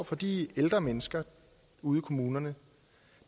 for de ældre mennesker ude i kommunerne